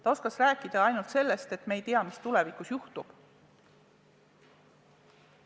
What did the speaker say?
Ta oskas rääkida ainult sellest, et me ei tea, mis tulevikus juhtub.